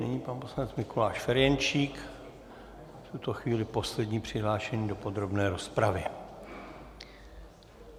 Nyní pan poslanec Mikuláš Ferjenčík, v tuto chvíli poslední přihlášený do podrobné rozpravy.